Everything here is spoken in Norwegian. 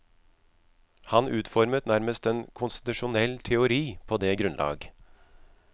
Han utformet nærmest en konstitusjonell teori på det grunnlag.